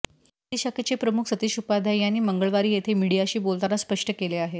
दिल्ली शाखेचे प्रमुख सतीश उपाध्याय यांनी मंगळवारी येथे मीडिाशी बोलताना स्पष्ट केले आहे